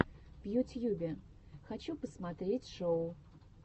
в ютьюбе хочу посмотреть шоу